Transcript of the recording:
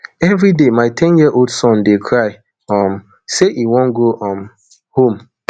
everi day my ten yearold son dey cry um say e wan go um home